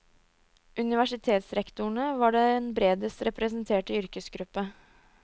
Universitetsrektorene var den bredest representerte yrkesgruppe.